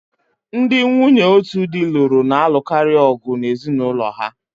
Ndị nwunye otu di lụrụ na-alụkarị ọgu na ezinụlọ ha